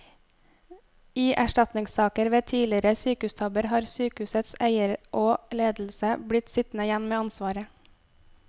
I erstatningssaker ved tidligere sykehustabber har sykehusets eier og ledelse blitt sittende igjen med ansvaret.